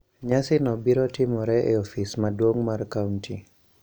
Nyasino biro timore e ofis maduong' mar kaunti.